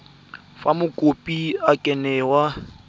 fa mokopi a ka newa